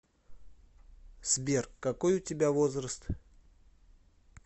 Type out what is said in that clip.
сбер какой у тебя возраст